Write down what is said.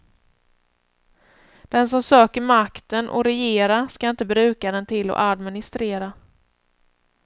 Den som söker makten att regera skall inte bruka den till att administrera.